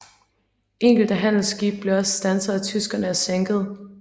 Enkelte handelsskibe blev også standset af tyskerne og sænket